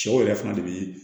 Cɛw yɛrɛ fana de be